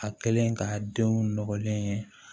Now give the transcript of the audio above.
A kɛlen k'a denw nɔgɔlen ye